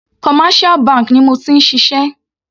Commercial bank ni mo ti ń ṣiṣẹ́.